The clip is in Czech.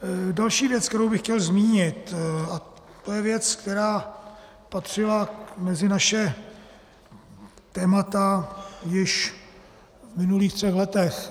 Další věc, kterou bych chtěl zmínit, a to je věc, která patřila mezi naše témata již v minulých třech letech.